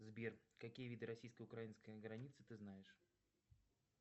сбер какие виды российско украинской границы ты знаешь